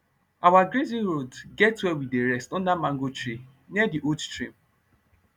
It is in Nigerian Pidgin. our grazing road get where we dey rest under mango tree near d old stream